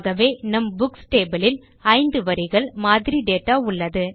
ஆகவே நம் books table இல் ஐந்து வரிகள் மாதிரி டேட்டா உள்ளது